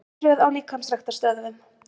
Örtröð á líkamsræktarstöðvum